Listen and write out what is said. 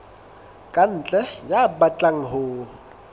ka ntle ya batlang ho